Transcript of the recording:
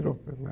Virou primeira